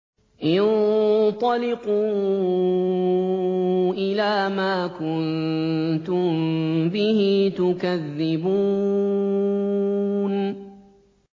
انطَلِقُوا إِلَىٰ مَا كُنتُم بِهِ تُكَذِّبُونَ